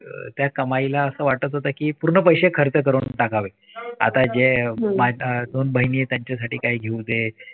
त्या कमाईला असं वाटत होतं की पूर्ण पैसे खर्च करून टाकावे आत्ताचे त्यांच्यासाठी काहीतरी घेऊन